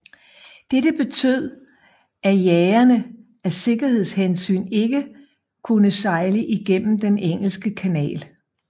Dette betød at jagerne af sikkerhedshensyn ikke kunne sejle igennem den engelske kanal